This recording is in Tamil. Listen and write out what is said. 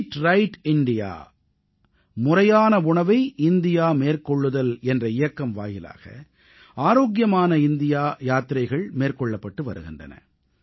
ஈட் ரைட் இந்தியா முறையான உணவை இந்தியா மேற்கொள்ளுதல் என்ற இயக்கம் வாயிலாக ஆரோக்கியமானஇந்தியாயாத்திரைகள் மேற்கொள்ளப்பட்டு வருகின்றன